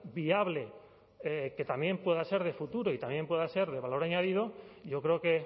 viable que también pueda ser de futuro y también pueda ser de valor añadido yo creo que